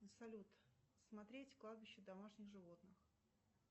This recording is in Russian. салют смотреть кладбище домашних животных